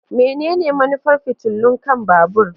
Menene manufar fitilun kan babur?